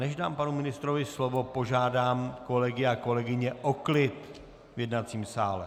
Než dám panu ministrovi slovo, požádám kolegy a kolegyně o klid v jednacím sále!